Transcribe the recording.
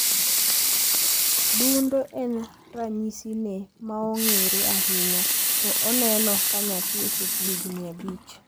Dundo en ranyisine maong`ere ahinya to oneno kanyathi ochopo higni abich.